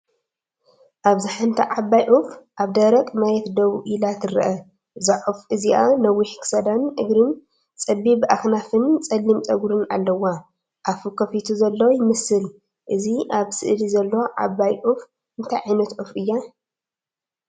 ኣብዚ ሓንቲ ዓባይ ዑፍ ኣብ ደረቕ መሬት ደው ኢላ ትርአ። እዛ ዑፍ እዚኣ ነዊሕ ክሳዳን እግርን፡ ጸቢብ ኣኽናፋን ጸሊም ጸጕርን ኣለዋ። ኣፉ ከፊቱ ዘሎ ይመስል። እዛ ኣብ ስእሊ ዘላ ዓባይ ዑፍ እንታይ ዓይነት ዑፍ እያ?